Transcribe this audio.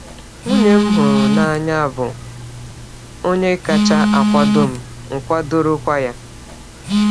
Nwunye m hụrụ n’anya bụ onye kacha akwado m, m kwadorokwa ya.